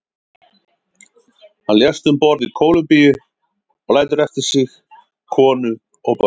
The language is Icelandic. Hann lést um borð í Kólumbíu og lætur eftir sig konu og börn.